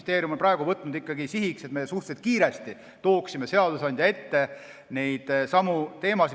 Justiitsministeerium on võtnud sihiks, et me suhteliselt kiiresti tooksime seadusandja ette neidsamu teemasid.